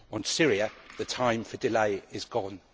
On Syria the time for delay is gone.